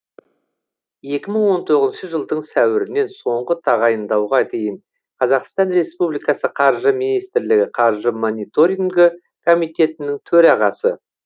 екі мың он тоғызыншы жылдың сәуірінен соңғы тағайындауға дейін қазақстан республикасы қаржы министрлігі қаржы мониторингі комитетінің төрағасы